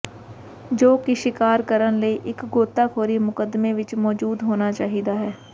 ਜੋ ਕਿ ਸ਼ਿਕਾਰ ਕਰਨ ਲਈ ਇੱਕ ਗੋਤਾਖੋਰੀ ਮੁਕੱਦਮੇ ਵਿੱਚ ਮੌਜੂਦ ਹੋਣਾ ਚਾਹੀਦਾ ਹੈ